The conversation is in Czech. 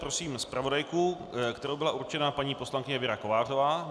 Prosím zpravodajku, kterou byla určena paní poslankyně Věra Kovářová.